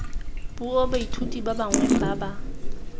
puo baithuti bangwe ba ba